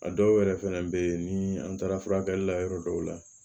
A dɔw yɛrɛ fɛnɛ bɛ ye ni an taara furakɛli la yɔrɔ dɔw la